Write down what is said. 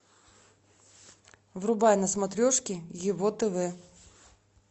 врубай на смотрешке его тв